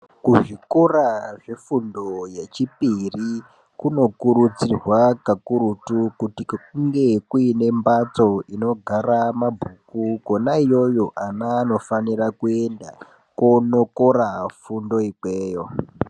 Kuzvikora zvefundo yechipiri kunokurudzirwa kakurutu kuti kunge kuine mbatso dzinogara mabhuku Kona iyoyo vana vanofanira kuenda konokora fundo ikweyo.